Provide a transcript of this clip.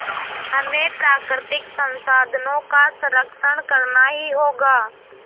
हमें प्राकृतिक संसाधनों का संरक्षण करना ही होगा